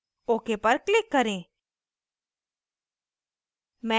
ok पर click करें